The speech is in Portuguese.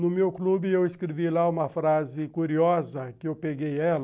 No meu clube, eu escrevi lá uma frase curiosa, que eu peguei ela.